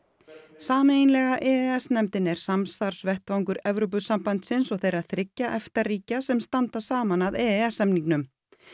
sameiginlega e e s nefndin er samstarfsvettvangur Evrópusambandsins og þeirra þriggja EFTA ríkja sem standa saman að e e s samningnum